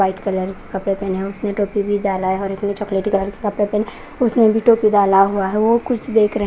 white colour कपड़े पहने है उसने टोपी भी डाला है और चॉकलेटी कलर के कपड़े पहने उसने भी टोपी डाला हुआ है वो कुछ देक रहे --